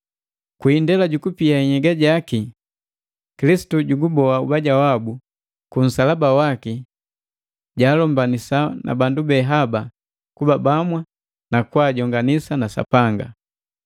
Kwi indela jukupia nhyega jaki, Kilisitu juguboa ubaja wabu, ku nsalaba waki jaalombanisa na bandu be haba kuba bamwa nu kujonganisa na Sapanga.